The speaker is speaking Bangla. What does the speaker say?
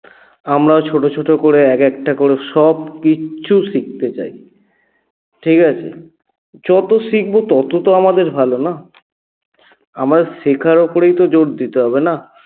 আমরাও ছোট ছোট করে এক একটা করে সবকিছু শিখতে চাই ঠিকাছে? যত শিখব তত তো আমাদের ভালো না? আমার শেখার উপরেই তো জোর দিতে হবে না